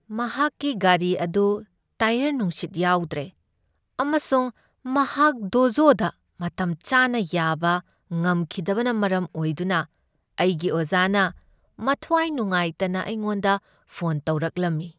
ꯃꯍꯥꯛꯀꯤ ꯒꯥꯔꯤ ꯑꯗꯨ ꯇꯥꯏꯌꯔ ꯅꯨꯡꯁꯤꯠ ꯌꯥꯎꯗ꯭ꯔꯦ ꯑꯃꯁꯨꯡ ꯃꯍꯥꯛ ꯗꯣꯖꯣꯗ ꯃꯇꯝ ꯆꯥꯅꯥ ꯌꯥꯕꯥ ꯉꯝꯈꯤꯗꯕꯅ ꯃꯔꯝ ꯑꯣꯏꯗꯨꯅꯑꯩꯒꯤ ꯑꯣꯖꯥꯅ ꯃꯊ꯭ꯋꯥꯏ ꯅꯨꯡꯉꯥꯏꯇꯅ ꯑꯩꯉꯣꯟꯗ ꯐꯣꯟ ꯇꯧꯔꯛꯂꯝꯃꯤ ꯫